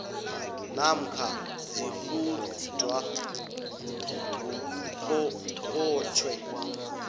namkha ziquntwa ngungqongqotjhe